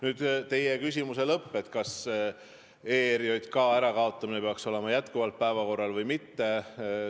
Nüüd teie küsimuse lõpp, kas ERJK ärakaotamine peaks olema jätkuvalt päevakorral või mitte.